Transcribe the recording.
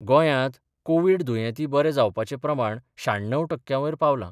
गोंयांत कोव्हीड दुयेती बरे जावपाचें प्रमाण शाण्णव टक्क्यांवयर पावलां.